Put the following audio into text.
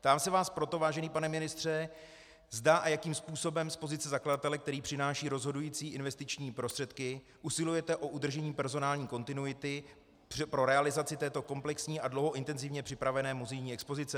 Ptám se vás proto, vážený pane ministře, zda a jakým způsobem z pozice zakladatele, který přináší rozhodující investiční prostředky, usilujete o udržení personální kontinuity pro realizaci této komplexní a dlouho intenzivně připravované muzejní expozice.